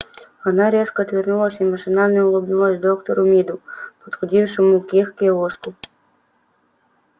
она резко отвернулась и машинально улыбнулась доктору миду подходившему к их киоску